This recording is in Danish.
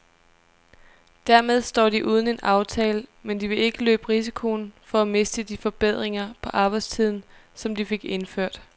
Dermed står de uden en aftale, men de vil ikke løbe risikoen for at miste de forbedringer på arbejdstiden, som de fik indført.